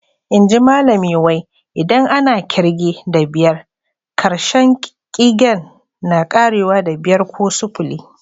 Inji Malami wai, idan ana kirge da biyar, karshen ƙigen na ƙarewa da"biyar" ko "sufuli."